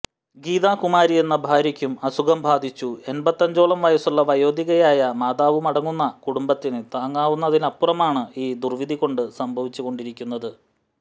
ഗീതാകുമാരിയെന്ന ഭാര്യക്കും അസുഖം ബാധിച്ചു എൺപത്തഞ്ചോളം വയസ്സുള്ള വയോധികയായ മാതാവുമടങ്ങുന്ന കുടുംബത്തിന് താങ്ങാവുന്നതിലുമപ്പുറമാണ് ഈ ദുർവിധി കൊണ്ട് സംഭവിച്ചുകൊണ്ടിരിക്കുന്നത്